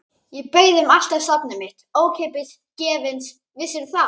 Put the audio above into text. Ég bauð þeim allt safnið mitt, ókeypis, gefins, vissirðu það?